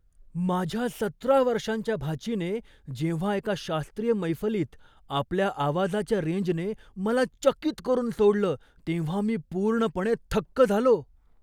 माझ्या सतरा वर्षांच्या भाचीने जेव्हा एका शास्त्रीय मैफलीत आपल्या आवाजाच्या रेंजने मला चकित करून सोडलं तेव्हा मी पूर्णपणे थक्क झालो.